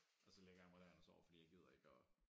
Og så lægger jeg mig derind og sover fordi jeg gider ikke at